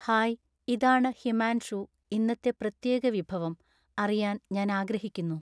hi ഇതാണ് ഹിമാൻഷൂ ഇന്നത്തെ പ്രത്യേക വിഭവം അറിയാൻ ഞാൻ ആഗ്രഹിക്കുന്നു